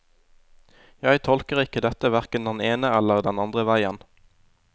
Jeg tolker ikke dette hverken den ene eller den andre veien.